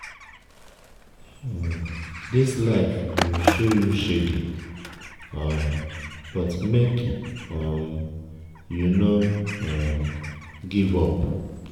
dis life go show you shege um but make um you no um give up.